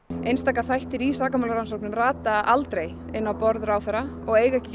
einstaka þættir í sakamálum rata aldrei inn á borð ráðherra og eiga ekki